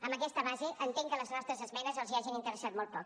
amb aquesta base entenc que les nostres esmenes els hagin interessat molt poc